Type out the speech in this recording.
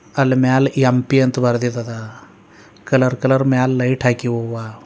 ಅಲ್ ಮ್ಯಾಲೆ ಎಂ_ಪಿ ಅಂತ ಬರ್ದಿದದ ಕಲರ್ ಕಲರ್ ಮ್ಯಾಲ್ ಲೈಟ್ ಹಾಕಿವವ.